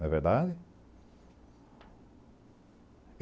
Não é verdade?